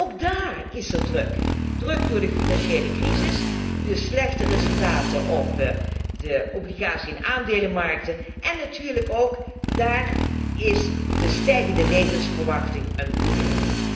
Maar ook daar is er druk, druk door de financiële crisis en de slechte resultaten op de obligatie en aandelenmarkten en natuurlijk is ook daar de stijgende levensverwachting een probleem.